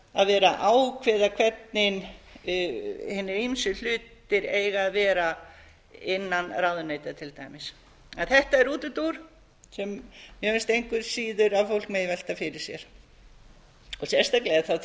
að vera að ákveða hvernig hinir ýmsu hlutir eiga að vera innan ráðuneyta til dæmis þetta er útúrdúr sem á finnst engu síður að fólk megi velta fyrir sér og sérstaklega þá